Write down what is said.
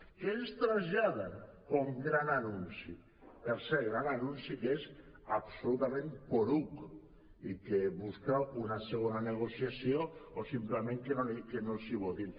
què ens trasllada com a gran anunci per cert un gran anunci que és absolutament poruc i que busca una segona negociació o senzillament que no els hi votin